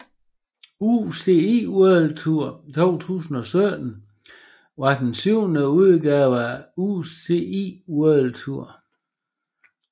UCI World Tour 2017 var den syvende udgave af UCI World Tour